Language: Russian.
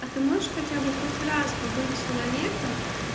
а ты можешь хотя бы хоть раз побыть человеком